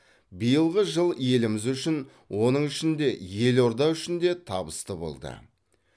биылғы жыл еліміз үшін оның ішінде елорда үшін де табысты болды